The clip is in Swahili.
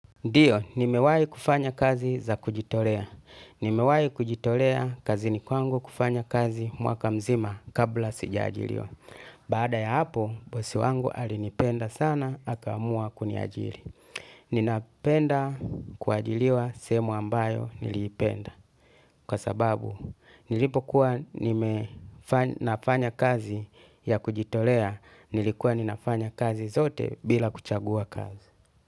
Ndiyo, nimewai kufanya kazi za kujitolea. Nimewai kujitolea kazini kwangu kufanya kazi mwaka mzima kabla sijaajiliwa. Baada ya hapo, bosi wangu alinipenda sana, akaamua kuniajili. Ninapenda kuajiliwa sehemu ambayo niliipenda. Kwa sababu, nilipokuwa ninafanya kazi ya kujitolea, nilikuwa ninafanya kazi zote bila kuchagua kazi.